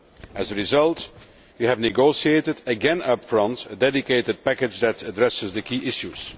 As a result we have negotiated again upfront a dedicated package which addresses the key issues.